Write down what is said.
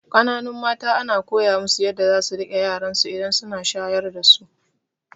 Kananun mata ana koya musu yadda zasu riƙe yaransu idan suna shayar dasu